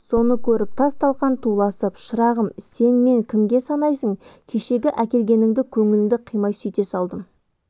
соны көріп тас-талқан туласын шырағым сен мен кімге санайсың кешегі әкелгеніңді көңіліңді қимай сөйте салдым